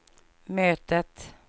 mötet